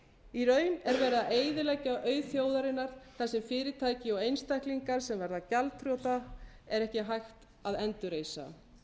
í raun er verið að eyðileggja auð þjóðarinnar þar sem fyrirtæki og einstaklingar sem verða gjaldþrota er ekki hægt að endurreisa